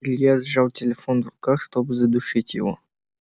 илья сжал телефон в руках чтобы задушить его